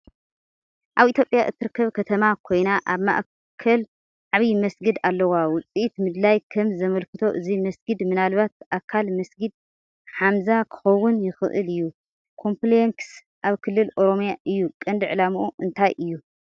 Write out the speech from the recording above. ኣብ ኢትዮጵያ እትርከብ ከተማ ኮይና፡ ኣብ ማእከላ ዓቢ መስጊድ ኣለዋ። ውጽኢት ምድላይ ከም ዘመልክቶ እዚ መስጊድ ምናልባት ኣካል "መስጊድ ሓምዛ" ክኸውን ይኽእል እዩ። ኮምፕለክስ ኣብ ክልል ኦሮምያ እዩ። ቀንዲ ዕላምኡ እንታይ እዩ?